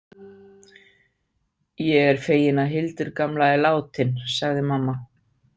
Ég er fegin að Hildur gamla er látin, sagði mamma.